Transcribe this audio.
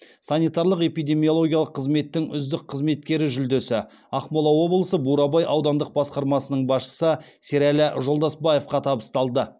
санитарлық эпидемиологиялық қызметтің үздік қызметкері жүлдесі ақмола облысы бурабай аудандық басқармасының басшысы сералы жолдасбаевқа табысталды